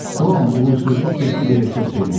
Tom uğursuzluq getdi deyə çox sevinirdi.